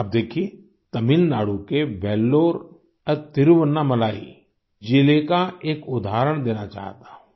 आप देखिये तमिलनाडु के वेल्लोर और तिरुवन्नामलाई जिले का एक उदाहरण देना चाहता हूँ